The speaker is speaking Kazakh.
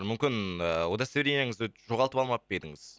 мүмкін ііі удостоверениеңізді жоғалтып алмап па едіңіз